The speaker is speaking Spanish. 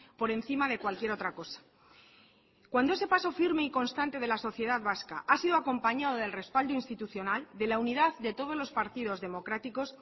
por encima de cualquier otra cosa cuando ese paso firme y constante de la sociedad vasca ha sido acompañado del respaldo institucional de la unidad de todos los partidos democráticos